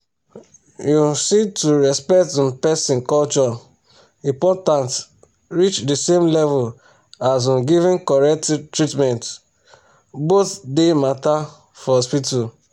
you um see to respect um person culture important reach the same level as um giving correct treatment. both dey matter for hospital.